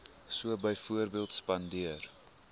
so byvoorbeeld spandeer